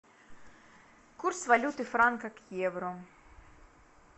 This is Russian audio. курс валюты франка к евро